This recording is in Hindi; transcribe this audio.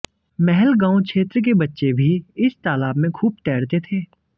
महलगांव क्षेत्र के बच्चे भी इस तालाब में खूब तैरते थे